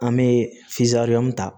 An bɛ ta